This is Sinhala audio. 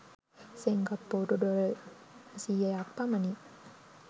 සිංගප්පූරු ඩොලර් සියයක් පමණි.